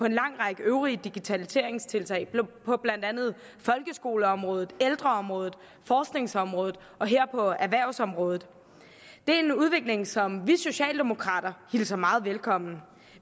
en lang række øvrige digitaliseringstiltag på blandt andet folkeskoleområdet ældreområdet forskningsområdet og her på erhvervsområdet det er en udvikling som vi socialdemokrater hilser meget velkommen